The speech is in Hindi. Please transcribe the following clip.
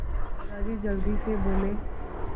दादाजी जल्दी से बोले